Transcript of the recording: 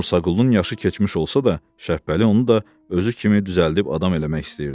Musaqulunun yaşı keçmiş olsa da, Şəpbəli onu da özü kimi düzəldib adam eləmək istəyirdi.